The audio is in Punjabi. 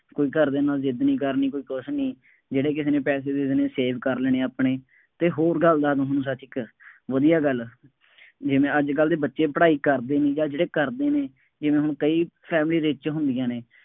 ਕੋਈ ਘਰਦਿਆਂ ਦੇ ਨਾਲ ਜ਼ਿੱਦ ਨਹੀਂ ਕਰਨੀ, ਕੋਈ ਕੁੱਛ ਨਹੀਂ, ਜਿਹੜੇ ਕਿਸੇ ਨੇ ਪੈਸੇ ਦੇ ਦੇਣੇ, save ਕਰ ਲੈਣੇ ਆਪਣੇ ਅਤੇ ਹੋਰ ਗੱਲ ਦਾ ਨਹੀਂ ਹੁੰਦਾ ਜ਼ਿਕਰ, ਵਧੀਆਂ ਗੱਲ ਹੈ, ਜਿਵੇਂ ਅੱਜ ਕੱਲ੍ਹ ਦੇ ਬੱਚੇ ਪੜ੍ਹਾਈ ਕਰਦੇ ਨਹੀਂ ਜਾਂ ਜਿਹੜੇ ਕਰਦੇ ਨੇ, ਇਹਨਾ ਨੂੰ ਕਈ family rich ਹੁੰਦੀਆਂ ਨੇ।